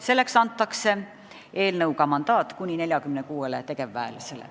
Selleks antakse eelnõu kohaselt mandaat kuni 46 tegevväelasele.